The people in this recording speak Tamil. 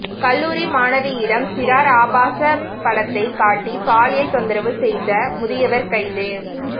கல்லூரி மாணவியிடம் சிறார் ஆபாசப் படத்தைக் காட்டி பாலியல் தொந்தரவு செய்த முதியவர் கைது